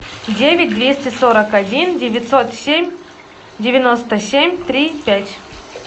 девять двести сорок один девятьсот семь девяносто семь три пять